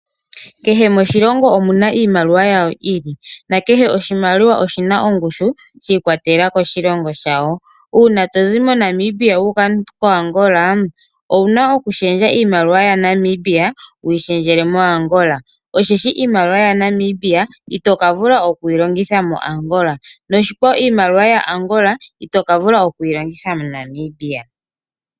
Kehe moshilongo omuna iimaliwa yamo yi ili na kehe oshimaliwa oshina ongushu shi ikwatelela koshilongo shawo. Uuna tozi moNamibia wu uka koAngola, owuna okulundulula iimaliwa ya Namibia wuyi lundululile miimaliwa yo moAngola. Molwashoka iimaliwa ya Namibia ito ka vula okuyi longitha moAngola, noshikwawo iimaliwa ya Angola ito ka vula okuyi longitha moNamibia.